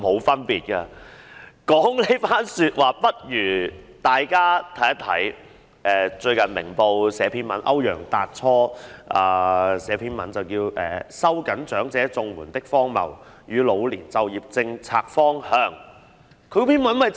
說完這番話，不如大家讀一讀歐陽達初最近撰寫的一篇文章，在《明報》刊登，名為"收緊長者綜援的荒謬與老年就業政策方向"。